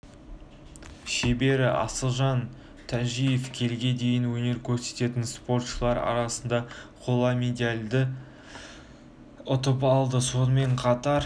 шебері асылжан тажиев келіге дейін өнер көрсететін спортшылар арасында қола медальді ұтып алды сонымен қатар